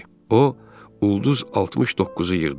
O ulduz 69-u yığdı.